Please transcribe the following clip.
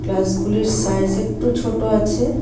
গ্লাসগুলির size একটু ছোট আছে.